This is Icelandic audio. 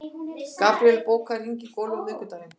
Gabríel, bókaðu hring í golf á miðvikudaginn.